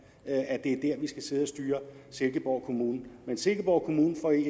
at det er her vi skal sidde og styre silkeborg kommune men silkeborg kommune får i